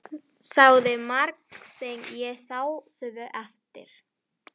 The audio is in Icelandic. Sagði margt sem ég sá svo eftir.